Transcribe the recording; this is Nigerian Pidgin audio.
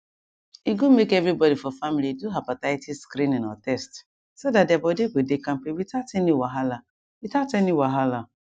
e good make everybody for family do hepatitis screening or test so that their body go dey kampe without any wahala without any wahala